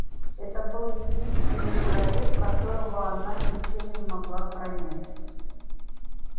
это был единственный человек которого она ничем не могла пронять